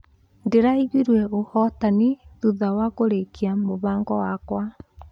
Ndĩraiguire ũhotani thutha wa kũrĩkia mũbango wakwa.